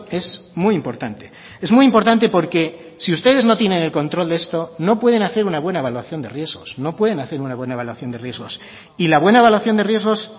es muy importante es muy importante porque si ustedes no tienen el control de esto no pueden hacer una buena evaluación de riesgos no pueden hacer una buena evaluación de riesgos y la buena evaluación de riesgos